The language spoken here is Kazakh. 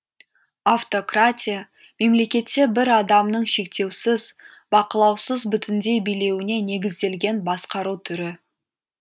автократия мемлекетте бір адамның шектеусіз бақылаусыз бүтіндей билеуіне негізделген басқару түрі